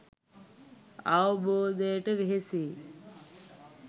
අවබෝධයට වෙහෙසෙයි